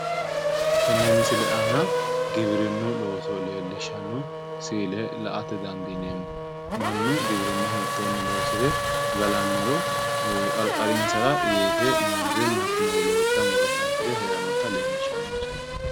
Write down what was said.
tenne misile aana giwirinnunni loonso leellishshanno siile sinde la"a dandineemmo mannu giwirinna hittoonni loose galannoro qarqarinsara weese hattono wolootta muro kayisire heerannota leellishshanno misileeti